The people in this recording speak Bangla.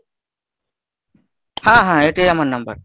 হ্যাঁ হ্যাঁ এটাই আমার number।